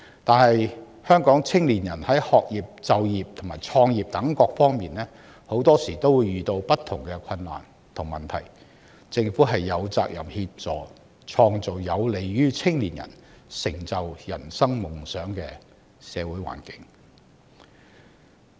可是，香港青年人在學業、就業及創業等各方面往往遇到不同的困難和問題，政府有責任協助創造有利於青年人成就人生夢想的社會環境。